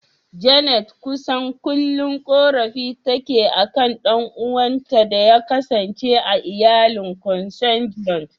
Janet kusan kullum korafi take akan ɗan'uwanta da ya kasance a iyalin "Consanguine".